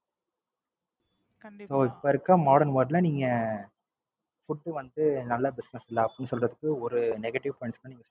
இப்ப இருக்கிற Modern world ல நீங் Food வந்து, நல்ல Business இல்ல. அப்படின்னு சொல்றதுக்கு ஒரு Negative point கூட சொல்ல முடியாது.